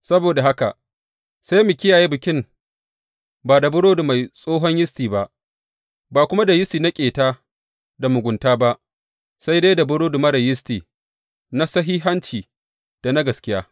Saboda haka, sai mu kiyaye Bikin ba da burodi mai tsohon yisti ba, ba kuma da yisti na ƙeta da mugunta ba, sai dai da burodi marar yisti na sahihanci da na gaskiya.